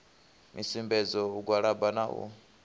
misumbedzo u gwalaba na u